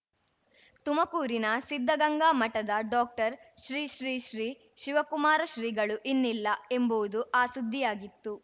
ತುಮಕೂರಿನ ಸಿದ್ಧಗಂಗಾ ಮಠದ ಡಾಕ್ಟರ್ ಶ್ರೀ ಶ್ರೀ ಶ್ರೀ ಶಿವಕುಮಾರ ಶ್ರೀಗಳು ಇನ್ನಿಲ್ಲ ಎಂಬುವುದು ಆ ಸುದ್ದಿಯಾಗಿತ್ತು